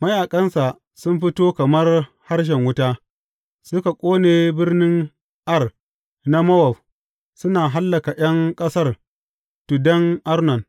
Mayaƙansa sun fito kamar harshen wuta suka ƙone birnin Ar na Mowab suna hallaka ’yan ƙasar tuddan Arnon.